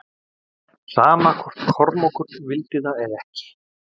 Sama hvort Kormákur vildi það eða ekki.